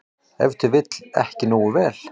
Ef til vill ekki nógu vel.